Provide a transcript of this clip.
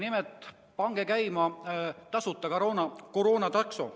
Nimelt: pange käima tasuta koroonatakso.